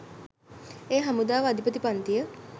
එය හමුදාව අධිපති පංතිය